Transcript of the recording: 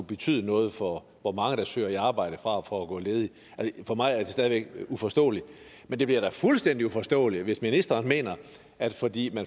betyde noget for hvor mange der søger arbejde frem for at gå ledige for mig er det stadig væk uforståeligt men det bliver da fuldstændig uforståeligt hvis ministeren mener at fordi